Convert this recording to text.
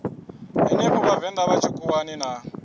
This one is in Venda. henefho vhavenḓa vha tshikhuwani na